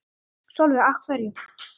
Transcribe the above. Sólveig: Af hverju?